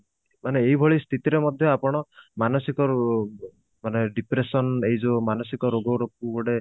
ମାନେ ଏଇଭଳି ସ୍ଥିତିରେ ମଧ୍ୟ ଆପଣ ମାନସିକ ମାନେ depression ଏଇ ଯୋଉ ମାନସିକ ରୋଗର ଗୋଟେ